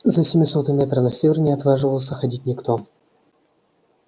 за семисотый метр на север не отваживался ходить никто